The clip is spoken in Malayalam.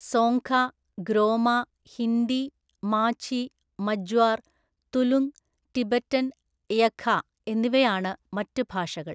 സോങ്ഖ, ഗ്രോമ, ഹിന്ദി, മാഝി, മജ്വാർ, തുലുങ്, ടിബറ്റൻ, യഖ എന്നിവയാണ് മറ്റ് ഭാഷകൾ.